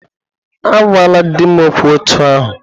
Agwala di m okwu otú ahụ!